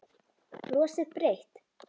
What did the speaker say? Brosir breitt.